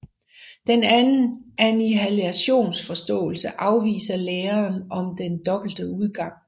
Den anden annihilationsforståelse afviser læren om den dobbelt udgang